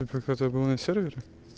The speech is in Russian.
ну как это было на сервере